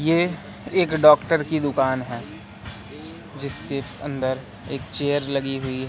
ये एक डॉक्टर की दुकान है जीसके अंदर एक चेयर लगी हुई--